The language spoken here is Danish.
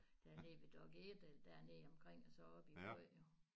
Dernede ved Dokk1 eller dernede omkring og så op i æ by